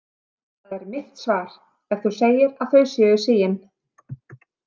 Það er mitt svar, ef þú segir að þau séu sigin.